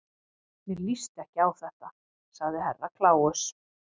Mér líst ekki á þetta, sagði Herra Kláus.